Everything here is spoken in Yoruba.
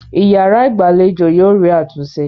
Ìyàrá-ìgbàlejò yóò rí àtúnṣe.